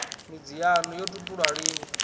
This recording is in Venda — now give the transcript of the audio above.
midzi yaṋu yo tupulwa lini